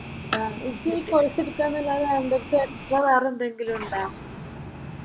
എനിക്ക് ഈ കോഴ്സ് എടുക്കാൻ അല്ലാതെ അന്റെ അടുത്ത് എടുക്കാൻ വെറെ എന്തെങ്കിലും ഉണ്ടോ?